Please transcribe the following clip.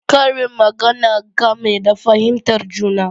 Karin magana game da fahimtar juna